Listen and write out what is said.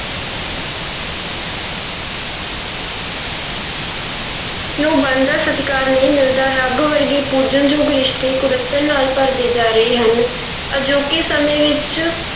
ਨੂੰ ਬਣਦਾ ਸਤਿਕਾਰ ਨਹੀਂ ਮਿਲਦਾ, ਰੱਬ ਵਰਗੇ ਪੂਜਣਯੋਗ ਰਿਸ਼ਤੇ ਕੁੜੱਤਣ ਨਾਲ ਭਰਦੇ ਜਾ ਰਹੇ ਹਨ ਅਜੋਕੇ ਸਮੇਂ ਵਿੱਚ